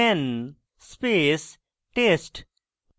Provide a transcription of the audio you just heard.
ইঙ্গিত: man space test